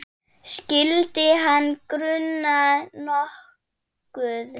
Skyldi hana gruna nokkuð?